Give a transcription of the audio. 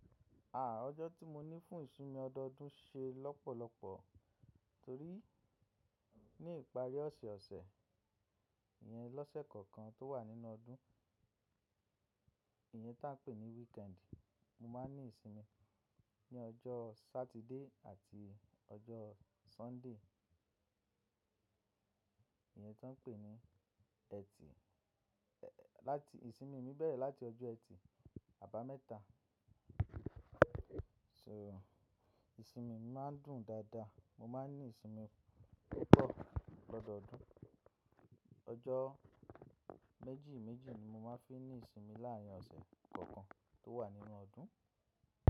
Àà, ọjọ́ tí mo ní fún ìsinmi ọdọọdún ṣe lọ́pọ̀lọpọ̀ torí ní ìparí ọ̀sẹ̀ ọ̀sẹ̀ yẹn lọ́sẹ̀ kọ̀ọ̀kan tó wà nínú ọdún, ìyẹ́ tá ń pè ní weekend, mo máa ń ní ìsinmi ní ọjọ́ Satide àti ọjọ́ Sunday. Ìyẹ́ tá ń pè ní Ẹtì, láti ìsinmi mi bẹ̀rẹ̀ láti ọjọ́ ẹtì àbámẹ́ta. So, ìsinmi mi máa ń dùn dáadáa, mo máa ń ní ìsinmi púpọ̀ lọ́dọọdún. Ọjọ́ méjì méjì ni mo máa ń fi ní ìsinmi láàárín ọ̀sẹ̀ kọ̀ọ̀kan tó wà nínú ọdún.